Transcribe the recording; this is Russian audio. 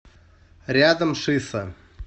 рядом шиса